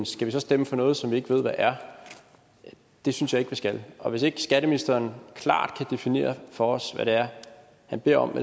skal vi så stemme for noget som vi ikke ved hvad er det synes jeg vi skal og hvis ikke skatteministeren klart kan definere for os hvad det er han beder om